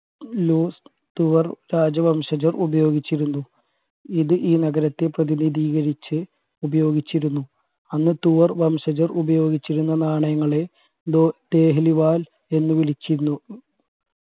തുവര രാജ്യവംശജർ ഉപയോഗിച്ചിരുന്നു ഇത് ഈ നഗരത്തെ പ്രതിനിധീകരിച്ച് ഉപയോഗിച്ചിരുന്നു അന്ന് തുവർ വംശജർ ഉപയോഗിച്ചിരുന്ന നാണയങ്ങളെ വാൽ എന്ന് വിളിച്ചിരുന്നു